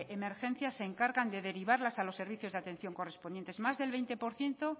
emergencias se encargan de derivarlas a los servicios de atención correspondientes más del veinte por ciento